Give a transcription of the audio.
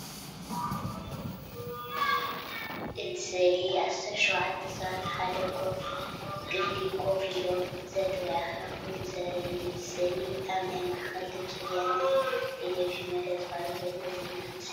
እቲ ስእሊ ኣስታት ሸውዓተ ሰባት ኣብ ሓደ ክፍሊ ኮፍ ኢሎም፡ ዘተ ወይ ኣኼባ ክገብሩ ዘርኢ እዩ። እዚ ስእሊ ኣብ ናይ ማዕከን ድምፂ ወያነ ቴሌቪዥን መደብ ዝቀርብ ዘሎ ዜና ምስሊ እዩ።